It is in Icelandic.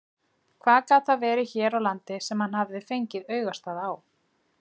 Hvað gat það verið hér á landi sem hann hafði fengið augastað á?